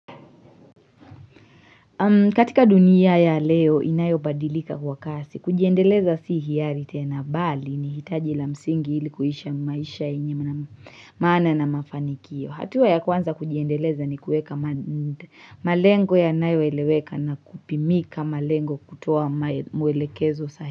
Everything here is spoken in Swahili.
Katika dunia ya leo inayobadilika kwa kasi. Kujiendeleza si hiari tena bali ni hitaji la msingi ilikuishi maisha yenye maana na mafanikio. Hatua ya kwanza kujiendeleza ni kueka malengo yanayo eleweka na kupimika malengo kutoa mwelekezo sahi.